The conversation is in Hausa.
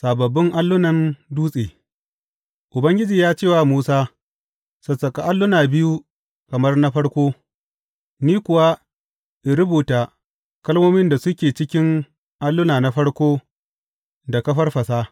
Sababbin allunan dutse Ubangiji ya ce wa Musa Sassaƙa alluna biyu kamar na farko, ni kuwa in rubuta kalmomin da suke cikin alluna na farko da ka farfasa.